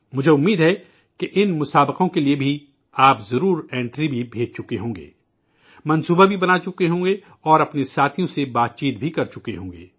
مجھے امید ہے کہ ان مقابلوں کے لیے بھی آپ ضرور انٹری بھی بھیج چکے ہوں گے، اسکیم بھی تیار کرچکے ہوں گے اور اپنے ساتھیوں سے ذکر کرچکے ہوں گے